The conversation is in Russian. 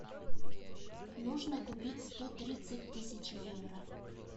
нужно купить сто тридцать тысяч евро